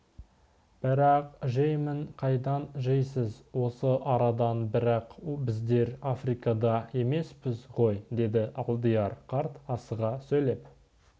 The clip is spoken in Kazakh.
бірақ жеймін қайдан жейсіз осы арадан бірақ біздер африкада емеспіз ғой деді алдияр қарт асыға сөйлеп